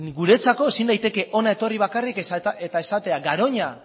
guretzako ezin daiteke hona etorri bakarrik eta esatea garoña